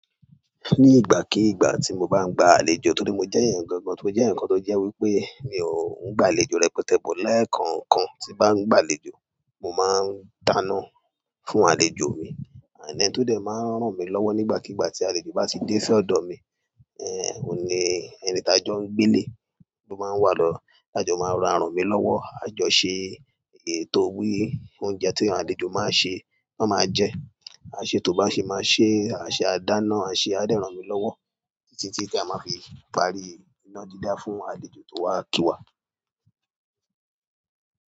Ní ìgbàkígbà tí mo bá ń gba àlejò torí mo jẹ́ èèyàn gangan, mó jẹ́ eyan kan tó jẹ́ wípé mi ò ń gba àlejò rẹpẹtẹ but lekookan tí n bá ń gba àlejò, mo máa ń dáná fún àlejò mi, and ẹni tó dẹ̀ máa ń ràn mí lọ́wọ́ nígbàkígbà tí àlejò bá ti dé sí ọ̀dọ̀ mi, ẹ́eh mo ní ẹni tà jọ ń gbelé ó máa ń wà lọ́, àjọ máa ra rànmi lọ́wọ́, àjọ ṣe ètò bí oúnjẹ tí àlejò máa ṣe, ti won máa jẹ, à ṣetó bá ṣe máa ṣe à ṣẹ, à dáná, à ṣẹ a dẹ rànmí lọ́wọ́ títí tí tí a máa fi parí iná dídá fún àlejò tó wá kíwa.